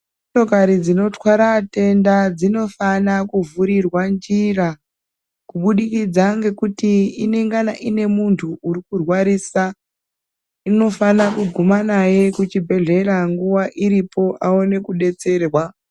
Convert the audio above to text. Motokari dzinotwara atenda dzinofana kuvhurirwa njira, kubudikidza ngekuti inengana ine muntu uri kurwarisa. Inofana kuguma naye kuchibhedhlera nguwa iripo aone kudetserwa.